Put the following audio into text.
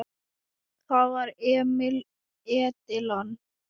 Það var Emil Edilon.